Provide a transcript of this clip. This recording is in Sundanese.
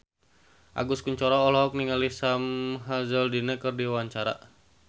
Agus Kuncoro olohok ningali Sam Hazeldine keur diwawancara